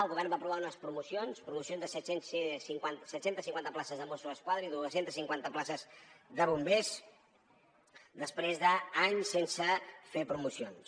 el govern va aprovar unes promocions de set cents i cinquanta places de mosso d’esquadra i dos cents i cinquanta places de bombers després d’anys sense fer promocions